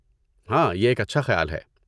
ہاں، یہ ایک اچھا خیال ہے۔